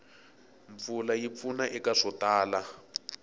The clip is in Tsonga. mpfula yi pfuna eka swo tala